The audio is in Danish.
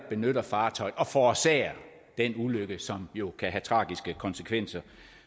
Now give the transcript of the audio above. benytter fartøjet og forårsager den ulykke som jo kan have tragiske konsekvenser